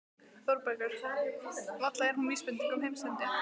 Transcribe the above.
ÞÓRBERGUR: Varla er hún vísbending um heimsendi?